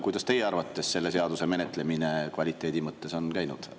Kuidas teie arvates selle seaduse menetlemine kvaliteedi mõttes on läinud?